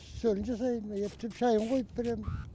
үстелін жасаймын ептеп шайын қойып беремін